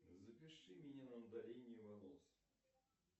запиши меня на удаление волос